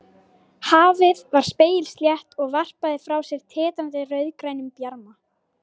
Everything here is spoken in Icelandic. Hafið var spegilslétt og varpaði frá sér titrandi rauðgrænum bjarma.